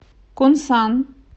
кунсан